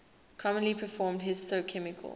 commonly performed histochemical